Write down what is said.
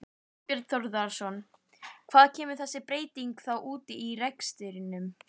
Þorbjörn Þórðarson: Hvar kemur þessi breyting þá út í rekstrinum?